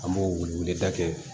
An b'o wele da kɛ